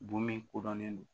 Bon min kodɔnnen don